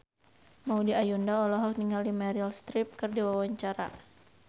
Maudy Ayunda olohok ningali Meryl Streep keur diwawancara